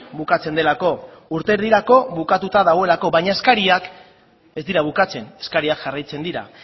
bukatzen delako urte erdirako bukatuta dagoelako baina eskariak ez dira bukatzen eskariak jarraitzen dira